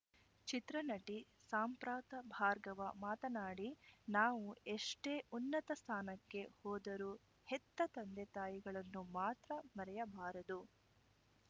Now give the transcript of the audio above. ಚಿತ್ರನಟಿ ಸಾಂಪ್ರತ ಭಾರ್ಗವ ಮಾತನಾಡಿ ನಾವು ಎಷ್ಟೇ ಉನ್ನತ ಸ್ಥಾನಕ್ಕೆ ಹೋದರೂ ಹೆತ್ತ ತಂದೆ ತಾಯಿಗಳನ್ನು ಮಾತ್ರ ಮರೆಯಬಾರದು